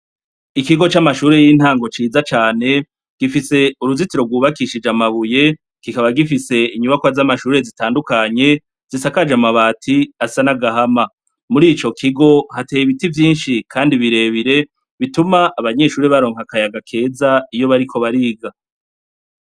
Ikigo camashure yintango ciza cane gifise uruzitiro rwubakishije amabuye kikaba gifise inyubakwa zamashure zitandukanye zisakaje amabati asa nagahama, murico kigo hateye ibiti vyinshi kandi birebire bituma abanyeshure baronka akayaga keza iyo bariko bariga.